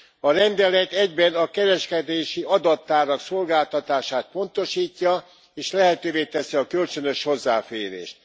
A rendelet egyben a kereskedési adattárak szolgáltatását pontosítja, és lehetővé teszi a kölcsönös hozzáférést.